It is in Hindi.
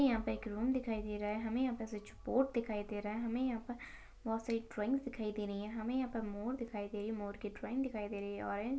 यहाँ पे एक रूम दिखाई दे रहा है हमे यहाँ पे स्विच बोर्ड दिखाई दे रहा है हमे यहाँ पर बहुत सारी ड्रॉईंग दिखाई दे रही है हमे यहाँ पर मोर दिखाई दे रही है मोर के ड्रॉईंग दिखाई दे रही है।